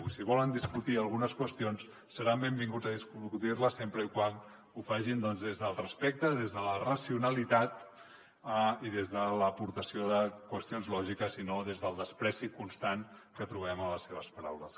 i si volen discutir algunes qüestions seran benvinguts a discutir les sempre que ho facin des del respecte des de la racionalitat i des de l’aportació de qüestions lògiques i no des del menyspreu constant que trobem a les seves paraules